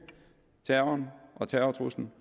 terroren og terrortruslen